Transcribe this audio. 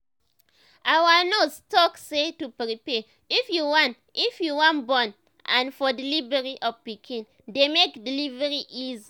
our nurse talk say to prepare if you wan if you wan born n for delivery of pikin dey make delivery easy